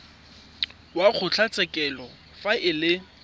wa kgotlatshekelo fa e le